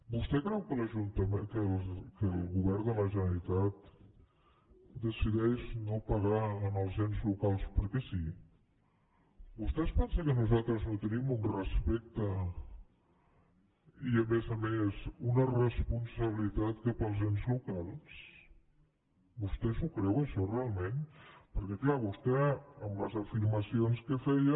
vostè creu que el govern de la generalitat decideix no pagar els ens locals perquè sí vostè es pensa que nosaltres no tenim un respecte i a més a més una responsabilitat cap als ens locals vostè s’ho creu això realment perquè clar vostè amb les afirmacions que feia